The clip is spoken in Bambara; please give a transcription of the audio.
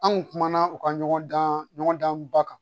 An kun kumana u ka ɲɔgɔn dan ɲɔgɔn dan ba kan